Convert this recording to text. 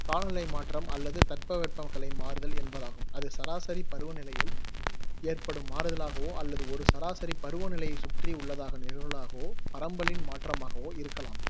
காலநிலை மாற்றம் அல்லது தட்பவெப்ப கலை மாறுதல் என்பதாகும். அது, சராசரி பருவ நிலையில் ஏற்படும் மாறுதலாகவோ அல்லது ஒரு சராசாரி பருவ நிலையைச் சுற்றி உள்ளதாகன நிகழ்வுகளாகவோ பரம்பலின் மாற்றமாகவோ இருக்கலாம்